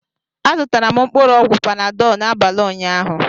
Azụtara m mkpụrụ ọgwụ Panadọ n'abalị ụnyaahụ